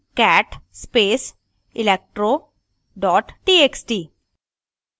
cat space electro txt